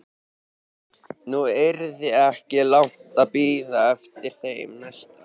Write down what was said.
Nú yrði ekki langt að bíða eftir þeim næsta.